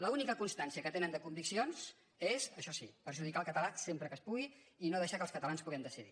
l’única constància que tenen de conviccions és això sí perjudicar el català sempre que es pugui i no deixar que els catalans puguem decidir